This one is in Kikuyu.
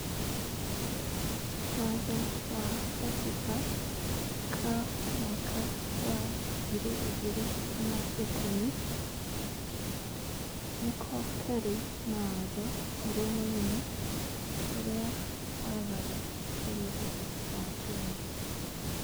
Watho wa gatiba, ka mwaka wa ngiri igĩrĩ na ikũmi, nĩko karĩ na watho ũrĩa mũnene ũrĩa wathaga bũrũri wa Kenya